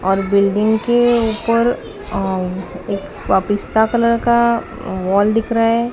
और बिल्डिंग के ऊपर अ एक पिस्ता कलर का वॉल दिख रहा है।